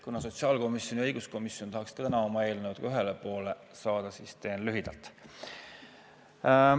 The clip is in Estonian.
Kuna sotsiaalkomisjon ja õiguskomisjon tahaksid ka täna oma eelnõudega ühele poole saada, siis teen lühidalt.